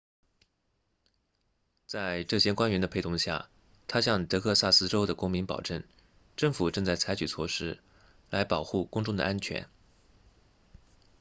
在这些官员的陪同下他向德克萨斯州的公民保证政府正在采取措施来保护公众的安全